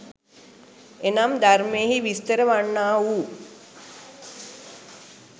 එනම් ධර්මයෙහි විස්තර වන්නා වූ